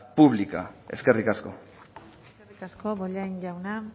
pública eskerrik asko eskerrik asko bollain jauna